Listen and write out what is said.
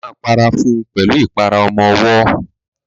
Ó ma para fún pẹ̀lú ìpara ọmọwọ́.